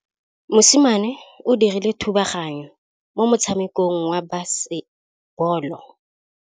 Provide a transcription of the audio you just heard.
Mosimane o dirile thubaganyô mo motshamekong wa basebôlô.